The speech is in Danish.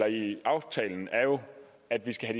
i aftalen er jo at det